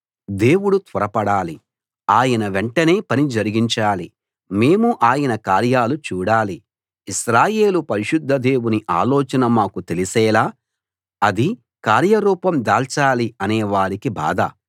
దేవుడు త్వరపడాలి ఆయన వెంటనే పని జరిగించాలి మేము ఆయన కార్యాలు చూడాలి ఇశ్రాయేలు పరిశుద్ధ దేవుని ఆలోచన మాకు తెలిసేలా అది కార్యరూపం దాల్చాలి అనే వారికి బాధ